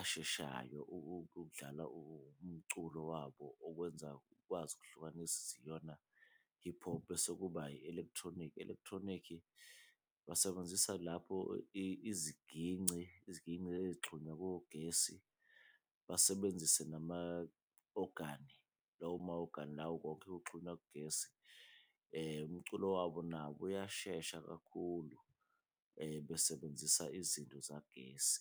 asheshayo ukudlala umculo wabo, okwenza ukwazi ukuhlukanisa ukuthi iyona i-hip hop. Bese kuba i-electronic, i-electronic basebenzisa lapho iziginci, iziginci eyixhunywa kogesi, basebenzise nama ogani lawo ma-ogani lawo konke kuxhunywa kugesi, umculo wabo nabo uyashesha kakhulu besebenzisa izinto zagesi.